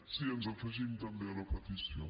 sí ens afegim també a la petició